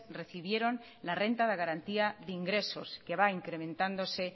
recibieron la renta de garantía de ingresos que va incrementándose